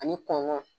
Ani kɔnɔn